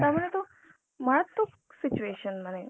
তার মানে তো মারাত্মক situation মানে .